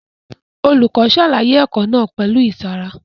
Olùkọ́ ṣàlàyé ẹ̀kọ́ náà pẹ̀lú ìtara